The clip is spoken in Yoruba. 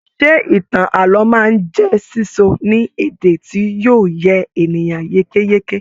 Ṣe ìtàn ààlọ́ máa n jẹ sísọ ní èdè tí yóò yé ènìyàn yékéyéké?